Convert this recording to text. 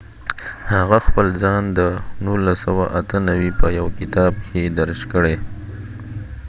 هغه خپل ځان د 1998 په یوه کتاب کې درج کړي